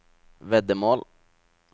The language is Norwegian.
veddemål